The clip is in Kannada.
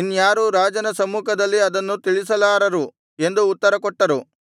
ಇನ್ಯಾರೂ ರಾಜನ ಸಮ್ಮುಖದಲ್ಲಿ ಅದನ್ನು ತಿಳಿಸಲಾರರು ಎಂದು ಉತ್ತರಕೊಟ್ಟರು